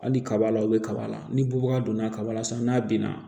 Hali kaba la o bɛ kaba la ni bubaga donna kaba la san n'a binna